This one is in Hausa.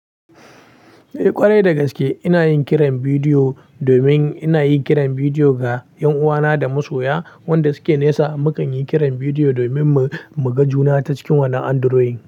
Eh ƙwarai dagaske ina yin kiran bidiyo domin ina yi kiran bidiyo ga ƴanuwana da masoya wanda suke nesa. Mukan yi kiran bidiyo domin mu, mu ga juna ta cikin wannan Android.